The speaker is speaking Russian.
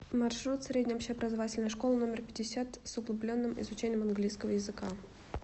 маршрут средняя общеобразовательная школа номер пятьдесят с углубленным изучением английского языка